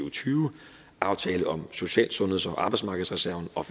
og tyve aftalen om social sundheds og arbejdsmarkedsreserven og